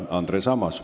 Andres Ammas.